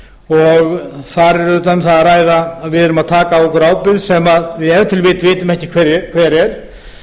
og þar er um að ræða ábyrgð sem við tökum á okkur sem við vitum ef til vill ekki hver er